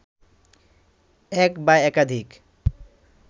এক বা একাধিক